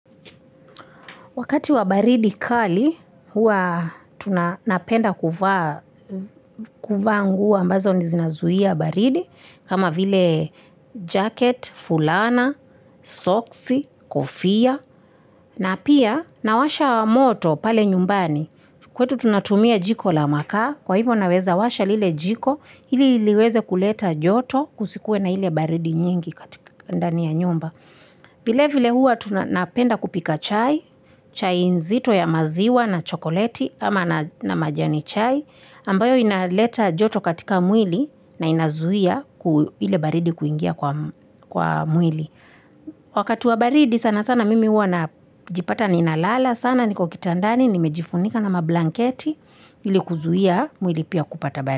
Wakati wa baridi kali, hua tunapenda kuva nguo ambazo ni zina zuhia baridi, kama vile jacket, fulana, socks, kofia, na pia nawasha moto pale nyumbani. Kwetu tunatumia jiko la makaa, kwa hivyo naweza washa lile jiko, hili liweze kuleta joto kusikue na hile baridi nyingi katika ndani ya nyumba. Vile vile hua tunapenda kupika chai, chai nzito ya maziwa na chokoleti ama na majani chai ambayo inaleta joto katika mwili na inazuia ile baridi kuingia kwa mwili Wakati wa baridi sana sana mimi hua na jipata ninalala sana niko kitandani nimejifunika na mablanketi ilikuzuia mwili pia kupata baridi.